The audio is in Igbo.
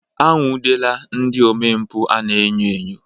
Anwụdela ndị omempụ a na-enyo enyo.